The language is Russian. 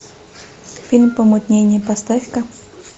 фильм помутнение поставь ка